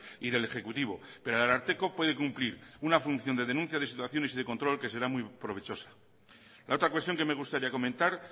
y del ejecutivo pero el ararteko puede cumplir una función de denuncia de situaciones y de control que será muy provechosa la otra cuestión que me gustaría comentar